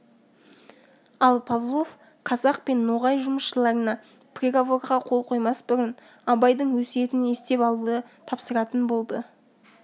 ал павлов қазақ пен ноғай жұмысшыларына приговорға қол қоймас бұрын абайдың өсиетін естіп алуды тапсыратын болды